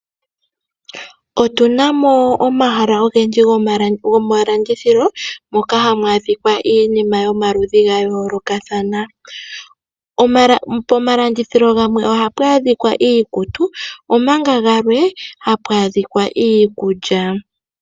Otunamo omahala ogendji gomalandithilo moka hamu adhika iinima yomaludhi gayoolokathana, pomalandithilo gamwe ohapu adhikwa iikutu omanga gamwe hapu adhikwa iikulya.